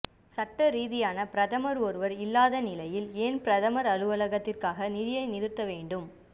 சட்டரீதியான பிரதமர் ஒருவர் இல்லாத நிலையில ஏன் பிரதமர் அலுவலகத்துக்காக நிதியை நிறுத்த வேண்டும்